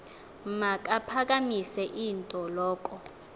makaphakamise int loko